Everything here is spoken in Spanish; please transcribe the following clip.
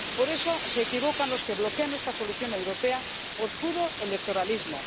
Por eso se equivocan los que bloquean esta solución europea por puro electoralismo.